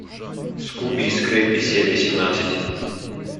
скуби и скрэппи серия семнадцать